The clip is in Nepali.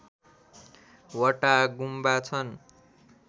वटा गुम्बा छन्